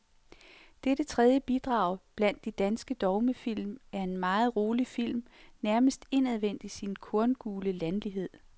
Dette tredje bidrag blandt de danske dogmefilm er en meget rolig film, nærmest indadvendt i sin korngule landlighed.